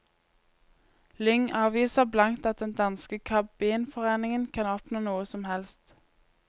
Lyng avviser blankt at den danske kabinforeningen kan oppnå noe som helst.